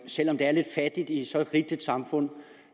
selv om det er lidt fattigt i så rigt et samfund